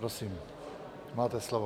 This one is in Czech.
Prosím, máte slovo.